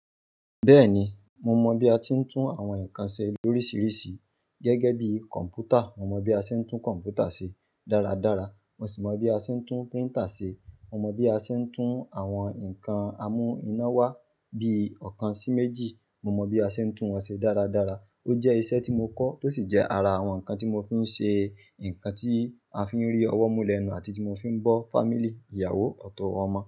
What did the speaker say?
Bẹ́ẹ̀ni, mo mọ bí a ti ń tún àwọn nǹkan ṣe lórísìírísìí gẹ́gẹ́ bí kọ̀m̀pútà. Mo mọ bí a ṣe ń tún kọ̀m̀pútà ṣe dáradára, mo sì mọ bí a ṣe ń tún printer ṣe. Mo mọ bí a ṣe ń tún àwọn nǹkan amú-iná wá bí ọ̀kan sí méjì. Mo mọ bí a ṣe ń tún wọn ṣe dáradára. Ó jẹ́ iṣẹ́ tí mo kọ́, tó sì jẹ́ ara àwọn nǹkan tí mo fi ń ṣe nǹkan tí a fi ń rí ọwọ́ mú lẹ́nu àti tí mo fi ń bọ́ family, ìyàwó, ọ̀tọ̀, ọmọ.